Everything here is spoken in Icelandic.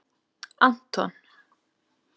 Anton